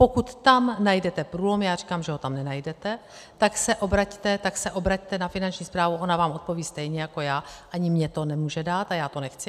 Pokud tam najdete průlom, já říkám, že ho tam nenajdete, tak se obraťte na Finanční správu, ona vám odpoví stejně jako já, ani mně to nemůže dát a já to nechci.